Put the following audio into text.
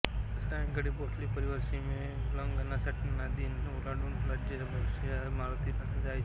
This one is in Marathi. सायंकाळी भोसले परिवार सीमोल्लंघनासाठी नाग नदी ओलांडून राजाबक्षाच्या मारुतीला जायचा